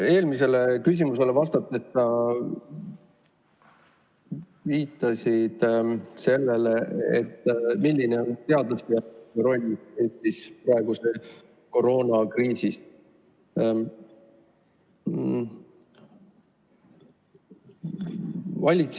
Eelmisele küsimusele vastates sa viitasid, kui suur on teaduse roll Eestis praeguses koroonakriisis.